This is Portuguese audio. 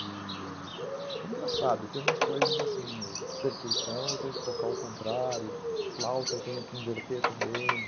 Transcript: E é engraçado, tem umas coisas assim, percursão eu tenho que tocar ao contrário, flauta eu tenho que inverter também.